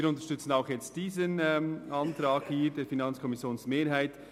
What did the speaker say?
Wir unterstützen auch diesen Antrag der FiKo-Mehrheit.